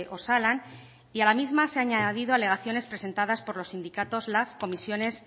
osalan y a la misma se han añadido alegaciones presentadas por los sindicatos lab comisiones